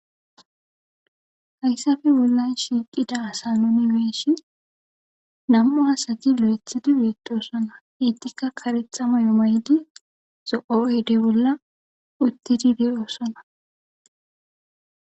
Hayssappe bollan shiqqida asa nuuni be'ishin nam'u asati lo'eththidi betossona eetika kareththa maayo mayidi zo'o oydde bolla uttidi de'ossona.